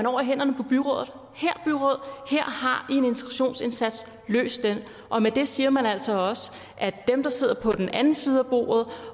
over i hænderne på byrådet her byråd har i en integrationsindsats løs det og med det siger man altså også at dem der sidder på den anden side af bordet